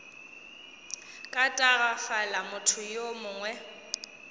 ka tagafala motho yo mongwe